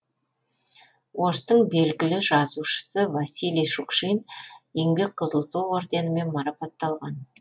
орыстың белгілі жазушысы василий шукшин еңбек қызыл ту орденімен марапатталған